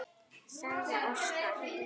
sagði Óskar.